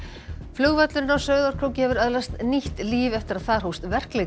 flugvöllurinn á Sauðárkróki hefur öðlast nýtt líf eftir að þar hófst verkleg